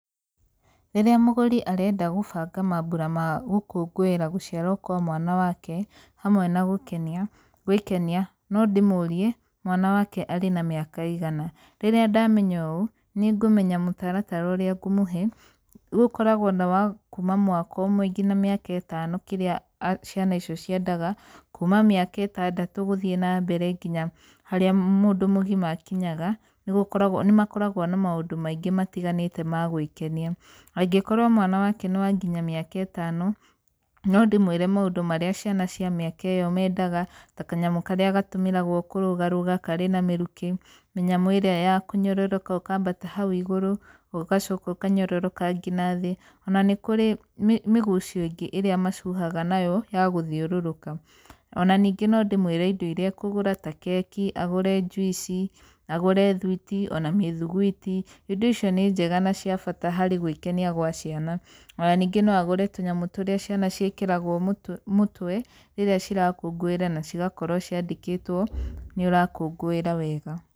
Rĩrĩa mũgũri arenda gũbanga mambura ma gũkũngũĩra gũciarwo kwa mwana wake, hamwe na gũkenia, gwĩkenia, no ndĩmũrie mwana wake arĩ na mĩaka ĩigana. Rĩrĩa ndamenya ũũ, nĩ ngũmenya mũtaratara ũrĩa ngũmũhe, gũkoragwo na wa kuma mwaka ũmwe nginya mĩaka ĩtano, kĩrĩa ciana icio ciendaga. Kuma mĩaka ĩtandatũ gũthiĩ na mbere nginya harĩa mũndũ mũgima akinyaga, nĩ gũkoragwo, nĩ makoragwo na maũndũ maingĩ matiganĩte ma gwĩkenia. Angĩkorwo mwana wake nĩ wa nginya mĩaka ĩtano, no ndĩmwĩre maũndũ marĩa ciana cia mĩaka ĩyo mendaga, ta kanyamũ karĩa gatũmĩragwo kũrũgarũga karĩ na mĩrukĩ, mĩnyamũ ĩrĩa ya kũnyororoka ũkambata hau igũrũ, ũgacoka ũkanyororoka ngina thĩ, ona nĩ kũrĩ mĩgucio ĩngĩ ĩrĩa macuhaga nayo na gũthiũrũrũka. Ona ningĩ no ndĩmwĩre indo irĩa akũgũra ta keki, agũre juici, agũre thuĩti ona mĩthuguiti. Indo icio nĩ njega na cia bata harĩ gwĩkenia gwa ciana. Ona ningĩ no agũre tũnyamũ tũrĩa ciana ciĩkĩragwo mũtwe, mũtwe rĩrĩa cirakũngũĩra na cigakorwo ciandĩkĩtwo nĩ ũrakũngũĩra wega.